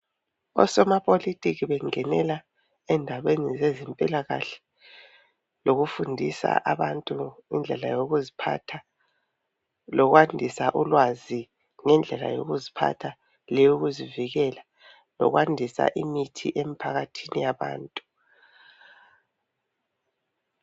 Osomapolitiki bengenela endabeni zezempilakahle lokufundisa abantu ngendlela yokuziphatha. Lokwandisa ulwazi ngendlela yokuziphatha leyokuzivikela .Lokwandisa imithi emphakathini yabantu .